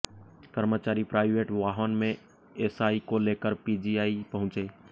कर्मचारी प्राइवेट वाहन में एसआई को लेकर पीजीआई पहुंचे